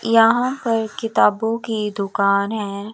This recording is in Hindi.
यहां पर किताबों की दुकान है।